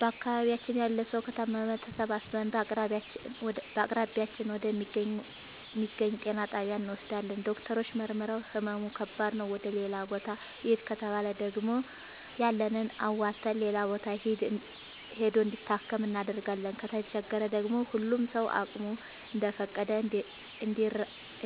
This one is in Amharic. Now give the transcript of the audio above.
በአካባቢያችን ያለ ሠዉ ከታመመ ተሠባስበን በአቅራቢያችን ወደ ሚገኝ ጤና ጣቢያ እንወስደዋለን። ዶክተሮች መርምረዉ ህመሙ ከባድ ነዉ ወደ ሌላ ቦታ ይህድ ከተባለ ደግሞ ያለንን አዋተን ሌላ ቦታ ሂዶ እንዲታከም እናደርጋለን። ከተቸገረ ደግሞ ሁሉም ሰዉ አቅሙ እንደፈቀደ